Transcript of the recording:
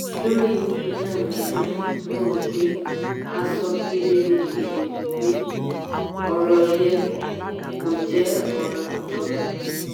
lórí iná mànàmáná mo rò pé a sọ ọ́ kedere kedere pé ọ̀rọ̀ yẹ kó jẹ́ ọ̀ràn ìjọba.